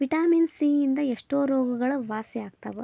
Vitamin C ಯಿಂದ ಎಷ್ಟೋ ರೋಗಗಳು ವಾಸಿ ಆಗ್ತಾವ.